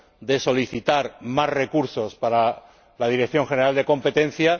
de solicitar más recursos para la Dirección General de Competencia.